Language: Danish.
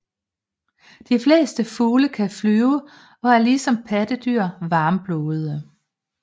De fleste fugle kan flyve og er ligesom pattedyr varmblodede